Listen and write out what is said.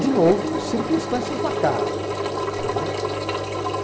De novo, circunstâncias do acaso, né.